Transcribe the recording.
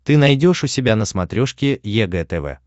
ты найдешь у себя на смотрешке егэ тв